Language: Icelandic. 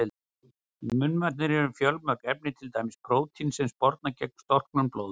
Í munnvatninu eru fjölmörg efni, til dæmis prótín sem sporna gegn storknun blóðs.